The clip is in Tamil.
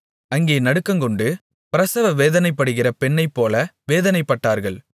அங்கே நடுக்கங்கொண்டு பிரசவ வேதனைப்படுகிற பெண்ணைப்போல வேதனைப்பட்டார்கள்